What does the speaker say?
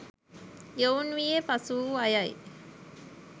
යොවුන් වියේ පසුවූ අයයි.